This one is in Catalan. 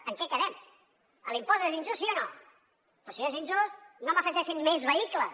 en què quedem l’impost és injust sí o no doncs si és injust no m’hi afegeixin més vehicles